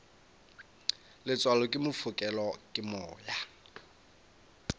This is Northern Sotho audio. letswalo ke fokelwa ke moya